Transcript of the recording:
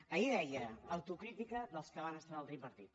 ahir deia autocrítica dels que van estar en el tripartit